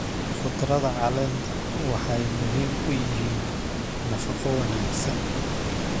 Khudradda caleenta waxay muhiim u yihiin nafaqo wanaagsan.